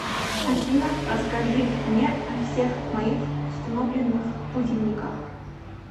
афина расскажи мне о всех моих установленных будильниках